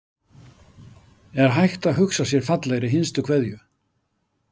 Er hægt að hugsa sér fallegri hinstu kveðju?